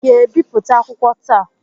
ị ga-ebipụta akwụkwọ akụkọ taa?